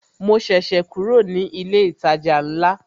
Mo ṣẹ̀ṣẹ̀ kúrò ní ilé ìtajà ńlá